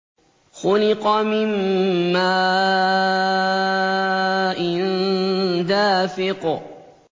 خُلِقَ مِن مَّاءٍ دَافِقٍ